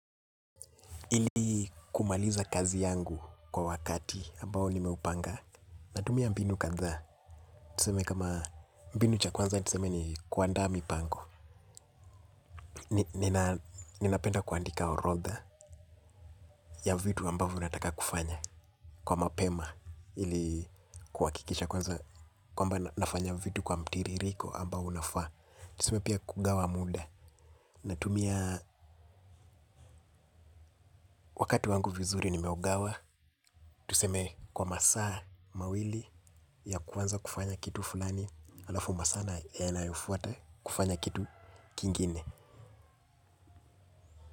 Ili kumaliza kazi yangu kwa wakati ambao nimeupanga natumia mbinu kadhaa tuseme kama mbinu cha kwanza tuseme ni kuandaa mipango ninapenda kuandika orodha ya vitu ambavo nataka kufanya kwa mapema ili kuakikisha kwanza kwamba nafanya vitu kwa mtiririko ambao unafaa tuseme pia kugawa muda natumia wakati wangu vizuri nimeugawa. Tuseme kwa masaa mawili ya kuanza kufanya kitu fulani. Alafu masaa yanayofuata kufanya kitu kingine.